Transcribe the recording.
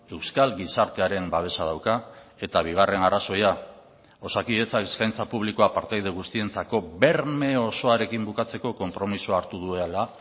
euskal gizartearen babesa dauka eta bigarren arrazoia osakidetza eskaintza publikoa partaide guztientzako berme osoarekin bukatzeko konpromisoa hartu duela